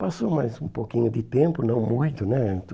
Passou mais um pouquinho de tempo, não muito, né?